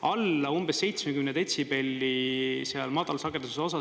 Alla umbes 70 detsibelli seal madalsageduse osas …